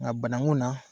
Nka bananku na